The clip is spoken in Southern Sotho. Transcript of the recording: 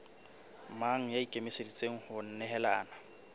mang ya ikemiseditseng ho nehelana